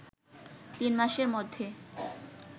তিন মাসের মধ্যে